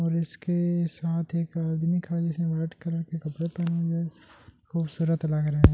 उसके इसके के साथ एक आदमी खड़े है रेड कलर के कपड़े पहने हुये है खूबसूरत लग रहे है।